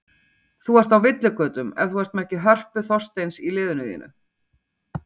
Þú ert á villigötum ef þú ert ekki með Hörpu Þorsteins í liðinu þínu.